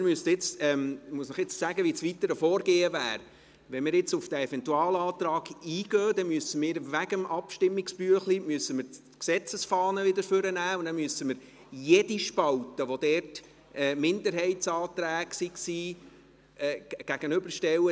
Ich muss Ihnen jetzt sagen, wie das weitere Vorgehen wäre: Wenn wir jetzt auf diesen Eventualantrag eingehen, müssen wir aufgrund des Abstimmungsbüchleins die Gesetzesfahne wieder zur Hand nehmen und müssen jede Spalte, in der Minderheitsanträge vermerkt sind, den Mehrheitsanträgen gegenüberstellen.